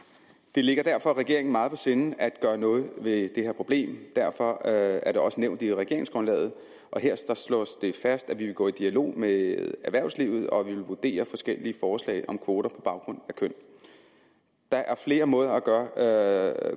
det ligger derfor regeringen meget på sinde at gøre noget ved det her problem derfor er det også nævnt i regeringsgrundlaget og her slås det fast at vi vil gå i dialog med erhvervslivet og at vi vil vurdere forskellige forslag om kvoter på baggrund af køn der er flere måder at gøre